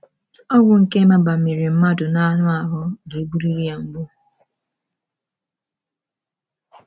Ogwu nke mabamiri mmadụ n’anụ ahụ́ ga-egburiri ya mgbu.